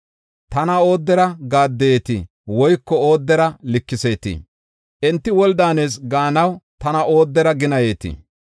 Tana oodera gaaddeyeetii? woyko oodera likiseetii? Enti woli daanees gaanaw tana oodera ginayetii?